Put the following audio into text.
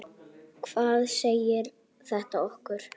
Hvað segir þetta okkur?